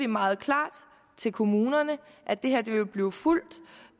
meget klart til kommunerne at det her vil blive fulgt og